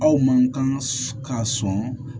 Aw man kan ka sɔn